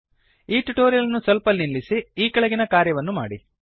ಈ ಟ್ಯುಟೋರಿಯಲ್ ಅನ್ನು ಸೊಲ್ಪ ನಿಲ್ಲಿಸಿ ಈ ಕೆಳಗಿನ ಕಾರ್ಯವನ್ನು ಮಾಡಿ